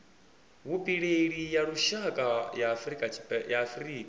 vhupileli ya lushaka ya afurika